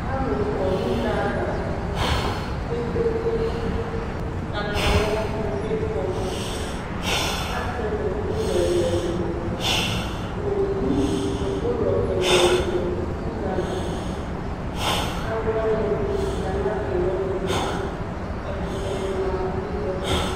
Alʋ kɔ nʋ une ava kpekpe eekpe Katayani ni kɔ, asɛ nʋ ʋlɔ ɛlʋ ɛlʋ Owu nʋ ʋlɔ ɛlʋ ɛlʋ bi dʋ une ava Alʋwani ɛdini za n'atami ɔnʋ tʋ Ɛkʋtɛni ma n'une yɛ tʋ